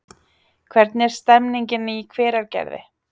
Hvernig er stemningin í Hveragerði?